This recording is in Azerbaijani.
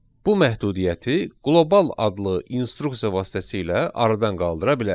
Bu məhdudiyyəti qlobal adlı instruksiya vasitəsilə aradan qaldıra bilərik.